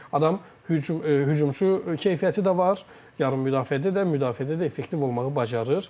Adam hücum hücumçu keyfiyyəti də var, yarım müdafiədə də, müdafiədə də effektiv olmağı bacarır.